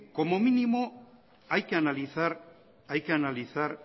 como mínimo hay que analizar